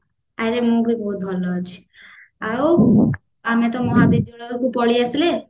ଆରେ ମୁଁ ବି ବହୁତ ଭଲ ଅଛି ଆଉ ଆମେ ତ ମହାବିଦ୍ୟାଳୟକୁ ପଳେଇ ଆସିଲେ